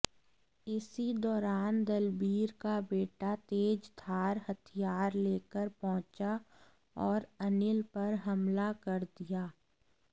इसी दौरान दलबीर का बेटा तेजधार हथियार लेकर पहुंचा और अनिल पर हमला कर दिया